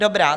Dobrá.